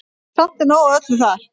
Samt er nóg af öllu þar.